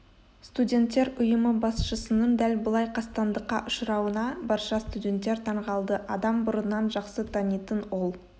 студенттер ұйымы басшысының дәл бұлай қастандыққа ұшырауына барша студенттер таңғалды адам бұрыннан жақсы танитын ол